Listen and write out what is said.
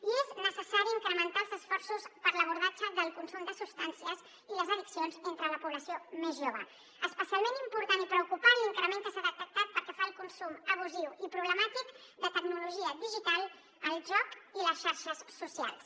i és necessari incrementar els esforços per a l’abordatge del consum de substàncies i les addiccions entre la població més jove és especialment important i preocupant l’increment que s’ha detectat pel que fa al consum abusiu i problemàtic de tecnologia digital el joc i les xarxes socials